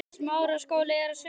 Eða hvað er málið?